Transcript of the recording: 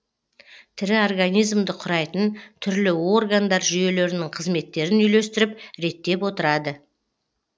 тірі организмді құрайтын түрлі органдар жүйелерінің қызметтерін үйлестіріп реттеп отырады